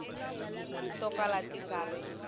to kala ti nga ri